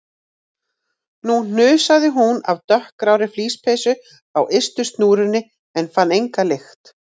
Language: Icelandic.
Nú hnusaði hún af dökkgrárri flíspeysu á ystu snúrunni en fann enga lykt.